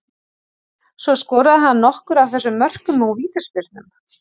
Svo skoraði hann nokkur af þessum mörkum úr vítaspyrnum.